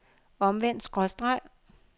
omvendt skråstreg